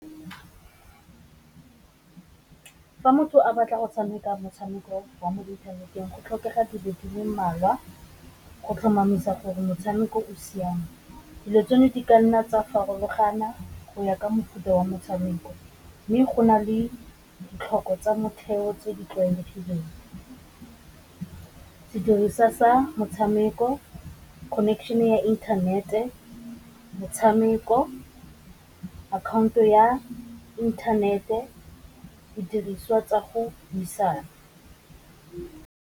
Fa motho a batla go tshameka motshameko wa mo inthaneteng go tlhokega dilo di le mmalwa, go tlhomamisa gore motshameko oa siame, dilo tseno di ka nna tsa farologana go ya ka mofuta wa motshameko, mme go na le ditlhoko tsa motheo tse di tlwaelegileng. Sediriswa sa motshameko, connection ya inthanete, motshameko akhaonto ya inthanete, didiriswa tsa go buisana.